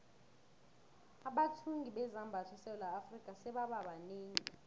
abathungi bezambatho esewula afrika sebaba banengi